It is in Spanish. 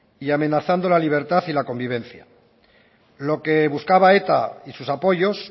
y amenazando la libertad y la convivencia lo que buscaba eta y sus apoyos